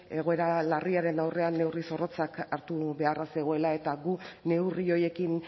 egoera larriaren aurrean neurri zorrotzak hartu beharra zegoela eta gu neurri horiekin